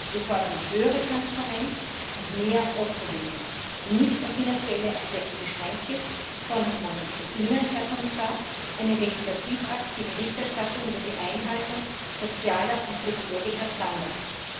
Wir fordern höhere Transparenz und mehr Offenlegung, die nicht auf finanzielle Aspekte beschränkt ist, sondern wollen von Ihnen, Herr Kommissar, einen Legislativakt für Berichterstattung über die Einhaltung sozialer und ökologischer Standards.